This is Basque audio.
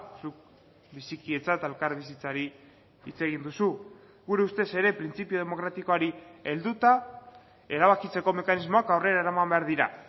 zuk bizikidetza eta elkarbizitzari hitz egin duzu gure ustez ere printzipio demokratikoari helduta erabakitzeko mekanismoak aurrera eraman behar dira